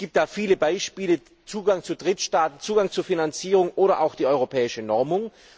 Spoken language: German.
Es gibt da viele Beispiele Zugang zu Drittstaaten, Zugang zu Finanzierung oder auch die europäische Normung.